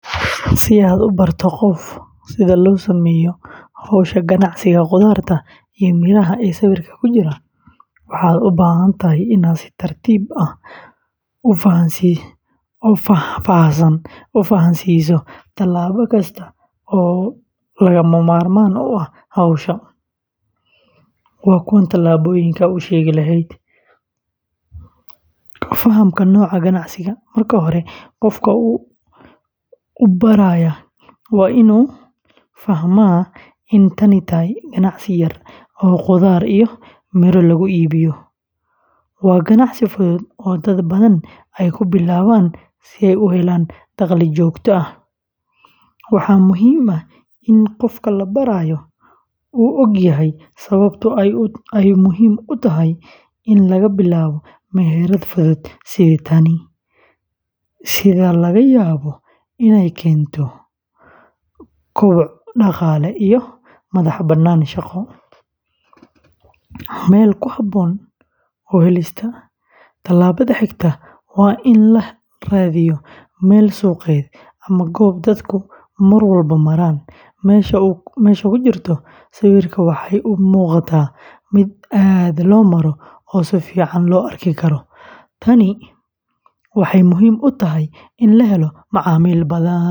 Si aad u barato qof sida loo sameeyo hawsha ganacsiga khudaarta iyo miraha ee sawirka ku jira, waxaad u baahan tahay inaad si tartiib ah oo faahfaahsan u fahamsiiso talaabo kasta oo lagama maarmaan u ah hawsha. Waa kuwan talaabooyinka aad u sheegi lahayd: Fahamka Nooca Ganacsiga: Marka hore qofka u baraya waa inuu fahmaa in tani tahay ganacsi yar oo khudaar iyo miro lagu iibiyo. Waa ganacsi fudud oo dad badan ay ku bilaabaan si ay u helaan dakhli joogto ah. Waxaa muhiim ah in qofka la barayo uu ogyahay sababta ay muhiim u tahay in laga bilaabo meherad fudud sida tan, sida laga yaabo inay keento koboc dhaqaale iyo madax-bannaani shaqo. Meel ku habboon u helista: Tallaabada xigta waa in la raadiyo meel suuqeed ama goob dadku mar walba maraan. Meesha ku jirta sawirka waxay u muuqataa mid aad loo maro oo si fiican loo arki karo. Tani waxay muhiim u tahay in la helo macaamiil badan.